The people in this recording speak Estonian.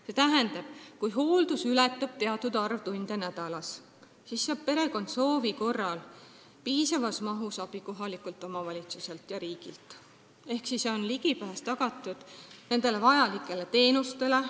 See tähendab, et kui hooldus ületab teatud tundide arvu nädalas, siis saaks perekond soovi korral piisavas mahus abi kohalikult omavalitsuselt ja riigilt ehk oleks tagatud ligipääs vajalikele teenustele.